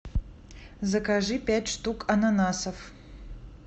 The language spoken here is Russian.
закажи пять штук ананасов